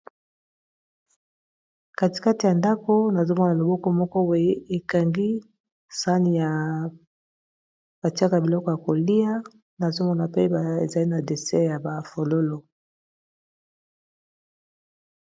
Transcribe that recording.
katikati ya ndako nazomona loboko moko boy ekangi sani ya batiaka biloko ya kolia nazomona pe ezali na deser ya bafololo